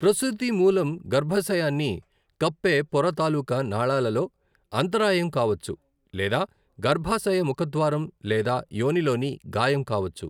ప్రసూతి మూలం గర్భాశయాన్ని కప్పే పొర తాలూకా నాళాలలో అంతరాయం కావచ్చు లేదా గర్భాశయ ముఖద్వారం లేదా యోనిలోని గాయం కావచ్చు.